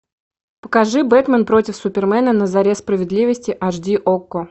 покажи бэтмен против супермена на заре справедливости аш ди окко